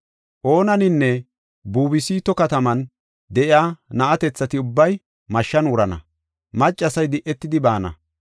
Onaninne Bubastu kataman de7iya na7atethati ubbay mashshan wurana; maccasay di7etidi baana.